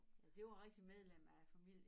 Den blev rigtig medlem af familien